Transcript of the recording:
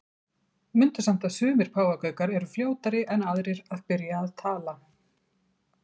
Mundu samt að sumir páfagaukar eru fljótari en aðrir að byrja að tala.